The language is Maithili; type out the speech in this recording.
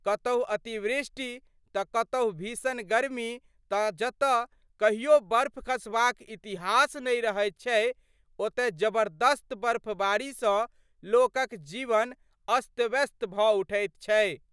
कतहु अतिवृष्टि तऽ कतहु भीषण गर्मी तऽ जतऽ कहियो बर्फ खसबाक इतिहास नहि रहैत छै ओतय जबरदस्त बर्फबारीसँ लोकक जीवन अस्तव्यस्त भड उठैत छै।